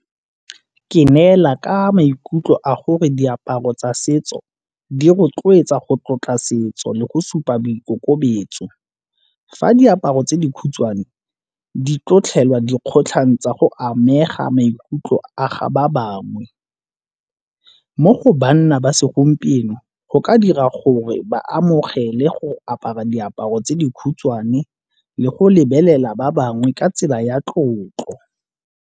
Ke neela ka maikutlo a gore diaparo tsa setso di rotloetsa go tlotla setso le go supa boikokobetso. Fa diaparo tse dikhutshwane di dikgotlhang tsa go amega maikutlo a ga ba bangwe. Mo go babna ba segompieno go ka dira gore ba amogele go apara diaparo tse di khutshwane le go lebelela ba bangwe ka tsela ya tlotlo.